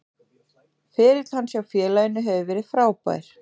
Ferill hans hjá félaginu hefur verið frábær.